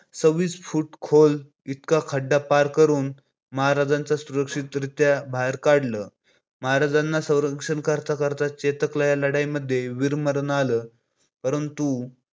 सहव्वीस foot खोल इतका खड्डा पार करून महाराजाना सुरक्षितरित्या बाहेर काढलं. महाराजांचा संरक्षण करता करता चेतकला या लढाईमध्ये वीरमरण आल. परंतु